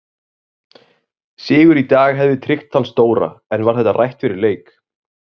Sigur í dag hefði tryggt þann stóra en var þetta rætt fyrir leik?